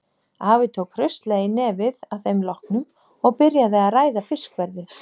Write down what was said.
Afi tók hraustlega í nefið að þeim loknum og byrjaði að ræða fiskverðið.